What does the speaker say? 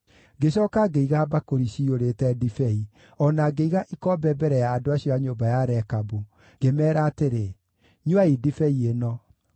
Ngĩcooka ngĩiga mbakũri ciyũrĩte ndibei, o na ngĩiga ikombe mbere ya andũ acio a nyũmba ya Rekabu, ngĩmeera atĩrĩ, “Nyuai ndibei ĩno.”